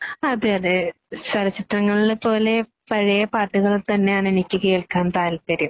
അതേയതേ.. ചലച്ചിത്രങ്ങളെ പോലെ പഴയ പാട്ടുകൾ തന്നെയാണ് എനിക്ക് കേൾക്കാൻ താല്പര്യം.